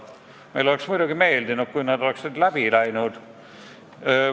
Meile oleks muidugi meeldinud, kui need oleksid läbi läinud.